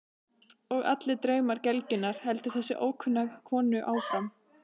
Og allir draumar gelgjunnar, heldur þessi ókunna kona áfram.